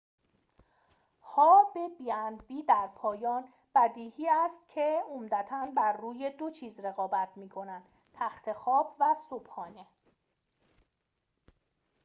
در پایان بدیهی است که b&b ها به عمدتا بر روی دو چیز رقابت می‌کنند تخت خواب و صبحانه